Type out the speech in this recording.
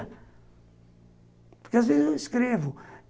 Porque, às vezes, eu escrevo.